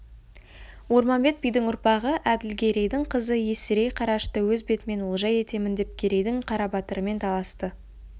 орманбет бидің ұрпағы әділгерейдің қызы есірей қарашашты өз бетімен олжа етемін деп керейдің қарабатырымен таласты